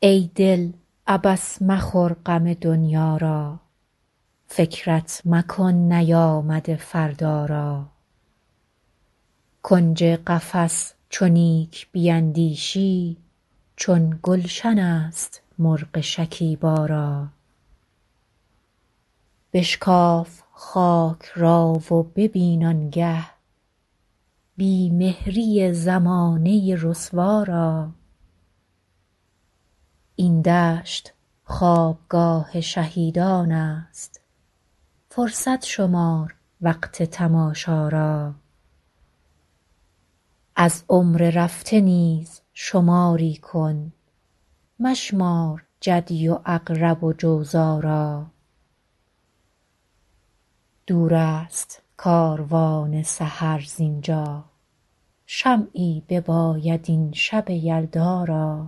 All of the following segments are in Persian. ای دل عبث مخور غم دنیا را فکرت مکن نیامده فردا را کنج قفس چو نیک بیندیشی چون گلشن است مرغ شکیبا را بشکاف خاک را و ببین آنگه بی مهری زمانه رسوا را این دشت خوابگاه شهیدانست فرصت شمار وقت تماشا را از عمر رفته نیز شماری کن مشمار جدی و عقرب و جوزا را دور است کاروان سحر زینجا شمعی بباید این شب یلدا را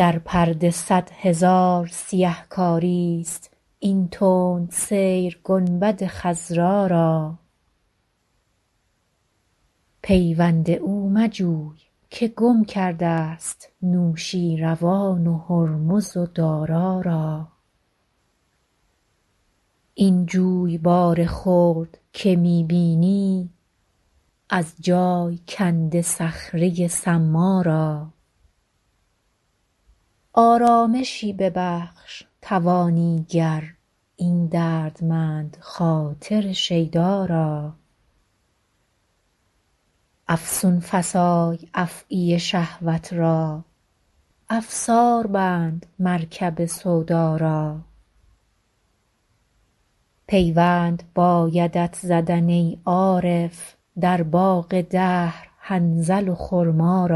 در پرده صد هزار سیه کاریست این تند سیر گنبد خضرا را پیوند او مجوی که گم کرد است نوشیروان و هرمز و دارا را این جویبار خرد که می بینی از جای کنده صخره صما را آرامشی ببخش توانی گر این دردمند خاطر شیدا را افسون فسای افعی شهوت را افسار بند مرکب سودا را پیوند بایدت زدن ای عارف در باغ دهر حنظل و خرما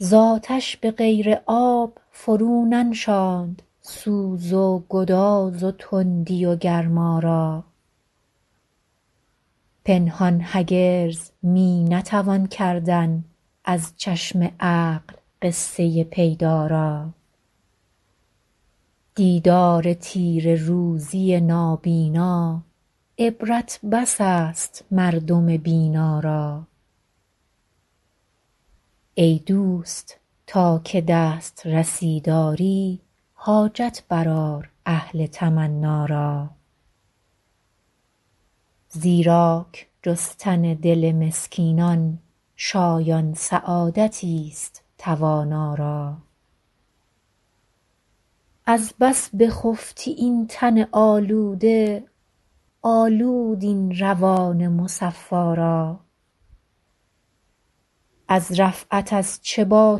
را زاتش بغیر آب فرو ننشاند سوز و گداز و تندی و گرما را پنهان هرگز می نتوان کردن از چشم عقل قصه پیدا را دیدار تیره روزی نابینا عبرت بس است مردم بینا را ای دوست تا که دسترسی داری حاجت بر آر اهل تمنا را زیراک جستن دل مسکینان شایان سعادتی است توانا را از بس بخفتی این تن آلوده آلود این روان مصفا را از رفعت از چه با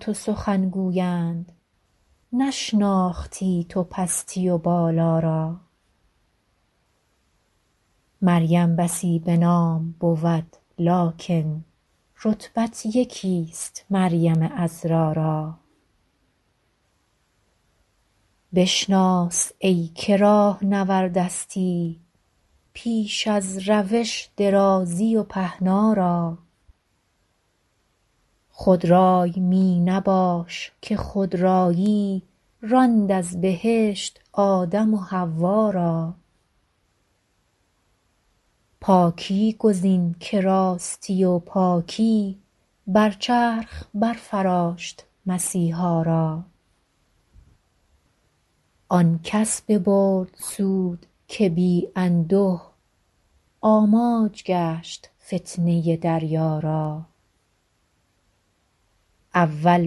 تو سخن گویند نشناختی تو پستی و بالا را مریم بسی بنام بود لکن رتبت یکی است مریم عذرا را بشناس ایکه راهنوردستی پیش از روش درازی و پهنا را خود رای می نباش که خودرایی راند از بهشت آدم و حوا را پاکی گزین که راستی و پاکی بر چرخ بر فراشت مسیحا را آنکس ببرد سود که بی انده آماج گشت فتنه دریا را اول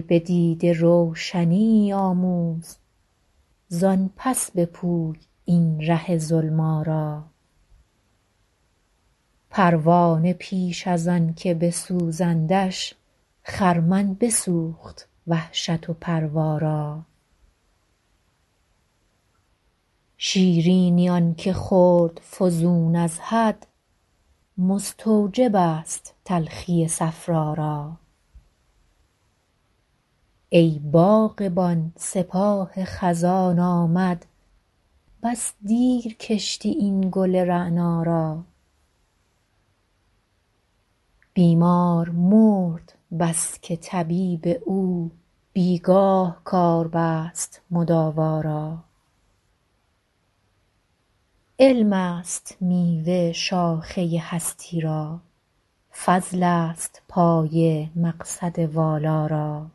بدیده روشنیی آموز زان پس بپوی این ره ظلما را پروانه پیش از آنکه بسوزندش خرمن بسوخت وحشت و پروا را شیرینی آنکه خورد فزون از حد مستوجب است تلخی صفرا را ای باغبان سپاه خزان آمد بس دیر کشتی این گل رعنا را بیمار مرد بسکه طبیب او بیگاه کار بست مداوا را علم است میوه شاخه هستی را فضل است پایه مقصد والا را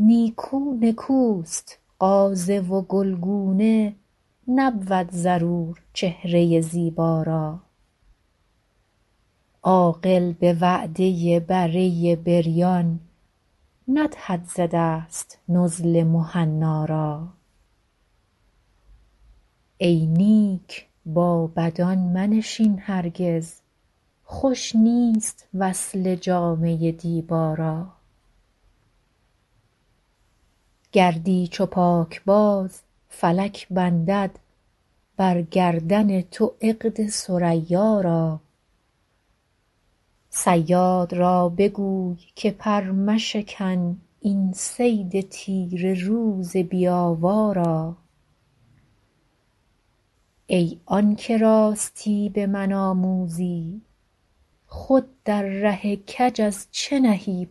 نیکو نکوست غازه و گلگونه نبود ضرور چهره زیبا را عاقل بوعده بره بریان ندهد ز دست نزل مهنا را ای نیک با بدان منشین هرگز خوش نیست وصله جامه دیبا را گردی چو پاکباز فلک بندد بر گردن تو عقد ثریا را صیاد را بگوی که پر مشکن این صید تیره روز بی آوا را ای آنکه راستی بمن آموزی خود در ره کج از چه نهی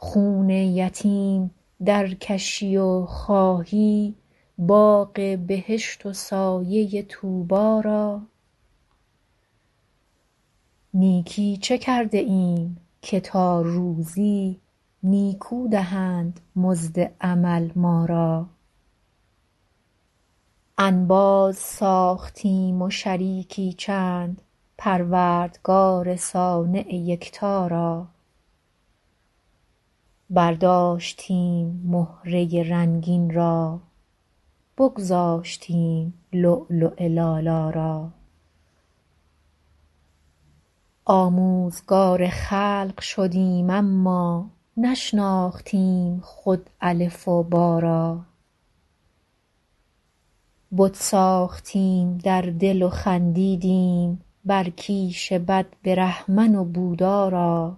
پا را خون یتیم در کشی و خواهی باغ بهشت و سایه طوبی را نیکی چه کرده ایم که تا روزی نیکو دهند مزد عمل ما را انباز ساختیم و شریکی چند پروردگار صانع یکتا را برداشتیم مهره رنگین را بگذاشتیم لؤلؤ لالا را آموزگار خلق شدیم اما نشناختیم خود الف و با را بت ساختیم در دل و خندیدیم بر کیش بد برهمن و بودا را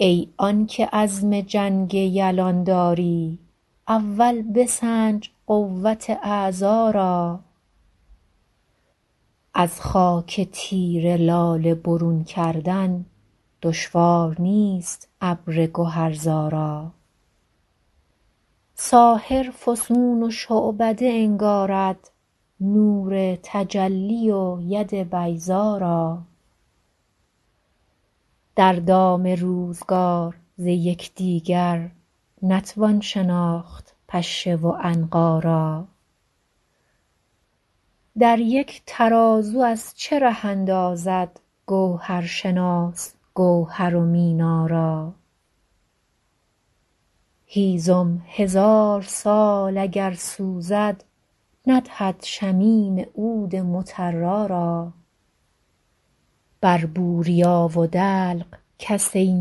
ای آنکه عزم جنگ یلان داری اول بسنج قوت اعضا را از خاک تیره لاله برون کردن دشوار نیست ابر گهر زا را ساحر فسون و شعبده انگارد نور تجلی و ید بیضا را در دام روزگار ز یکدیگر نتوان شناخت پشه و عنقا را در یک ترازو از چه ره اندازد گوهرشناس گوهر و مینا را هیزم هزار سال اگر سوزد ندهد شمیم عود مطرا را بر بوریا و دلق کس ای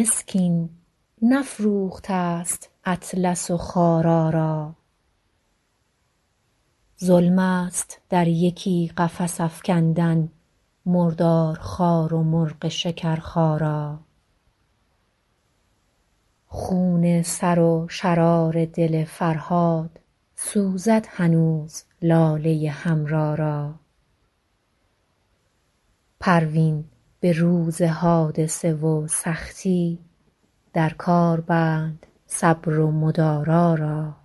مسکین نفروختست اطلس و خارا را ظلم است در یکی قفس افکندن مردار خوار و مرغ شکرخا را خون سر و شرار دل فرهاد سوزد هنوز لاله حمرا را پروین بروز حادثه و سختی در کار بند صبر و مدارا را